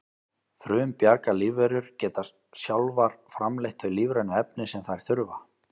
frumbjarga lífverur geta sjálfar framleitt þau lífrænu efni sem þær þurfa